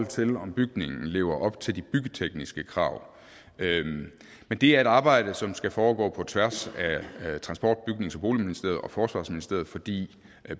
til om bygningen lever op til de byggetekniske krav det er et arbejde som skal foregå på tværs af transport bygnings og boligministeriet og forsvarsministeriet fordi